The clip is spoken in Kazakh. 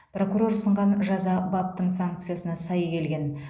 прокурор ұсынған жаза баптың санкциясына сай келген